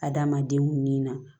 Adamadenw ni na